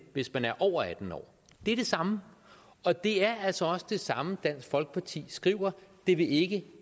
hvis man er over atten år det er det samme og det er altså også det samme dansk folkeparti skriver det vil ikke